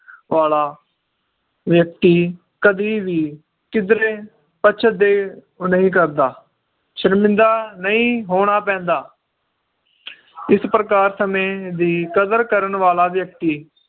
ਵਾਲਾ ਵ੍ਯਕ੍ਤਿ ਕਦੀ ਵੀ ਕਿਧਰੇ ਪਚਦੇ ਨਹੀਂ ਕਰਦਾ ਸ਼ਰਮਿੰਦਾ ਨਈ ਹੋਣਾ ਪੈਂਦਾ ਇਸ ਪ੍ਰਕਾਰ ਸਮੇ ਦੀ ਕਦਰ ਕਰਨ ਵਾਲਾ ਵ੍ਯਕ੍ਤਿ